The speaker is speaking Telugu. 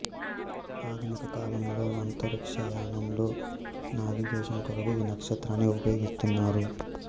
ఆధునిక కాలంలో అంతరిక్షయానంలో నావిగేషన్ కొరకు ఈ నక్షత్రాన్ని ఉపయోగిస్తున్నారు